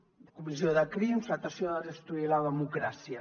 comissió de crims tractar de destruir la democràcia